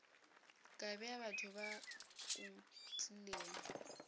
kae batho ba o tlilego